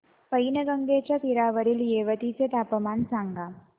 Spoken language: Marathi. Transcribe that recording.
पैनगंगेच्या तीरावरील येवती चे तापमान सांगा